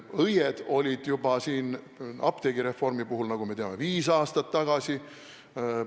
Õied olid apteegireformi puhul, nagu me teame, juba viis aastat tagasi.